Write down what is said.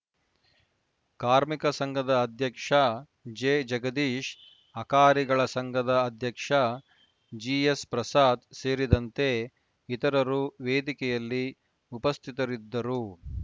ಕಾರ್ಮಿಕ ಸಂಘದ ಅಧ್ಯಕ್ಷ ಜೆ ಜಗದೀಶ್‌ ಅಕಾರಿಗಳ ಸಂಘದ ಅಧ್ಯಕ್ಷ ಜಿಎಸ್‌ ಪ್ರಸಾದ್‌ ಸೇರಿದಂತೆ ಇತರರು ವೇದಿಕೆಯಲ್ಲಿ ಉಪಸ್ಥಿತರಿದ್ದರು